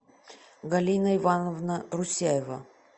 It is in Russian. галина ивановна русяева